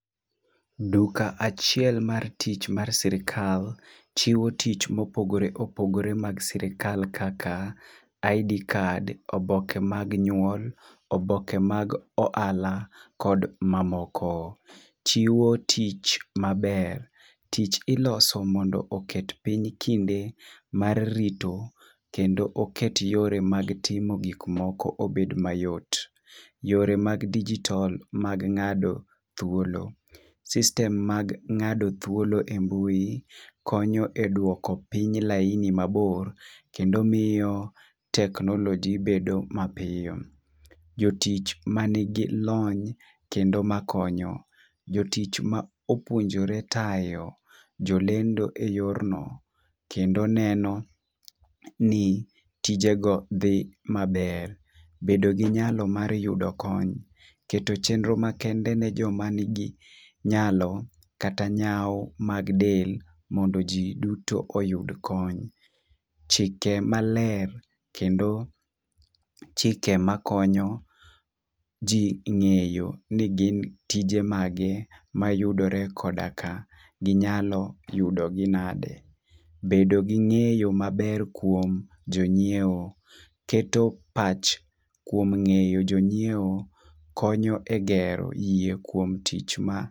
Duka achiel mar tich mar sirikal, chiwo tich mopogore opogore mag sirikal kaka ID card, oboke mag nyuol, oboke mag ohala, kod mamoko. Chiwo tich maber, tich iloso mondo oket piny kinde mar rito kendo oket yore mag timo gikmoko obed mayot. Yore mag dijitol mag ng'ado thuolo, system mag ng'ado thuolo e mbui konyo e dwoko piny laini mabor, kendo miyo teknoloji bedo mapiyo. Jotich ma nigi lony kendo makonyo, jotich ma opuonjore tayo jolendo e yor no kendo neno ni tijego dhi maber. Bedo gi nyalo mar yudo kony, keto chenro makende ne joma nigi nyalo kata nyau mag del mondo ji duto oyud kony. Chike maler, kendo chike makonyo ji ng'eyo ni gin tije mage mayudore kodaka ginyalo yudogi nade. Bedo gi ng'eyo maber kuom jonyiewo. Keto pach kuom ng'eyo jonyiewo konyo e gero yie kuom tich ma.